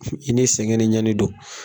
i ni sɛgɛn ni ɲani don;